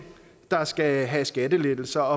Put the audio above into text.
der skal have skattelettelser